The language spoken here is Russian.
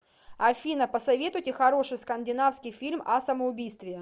афина посоветуйте хороший скандинавский фильм о самоубийстве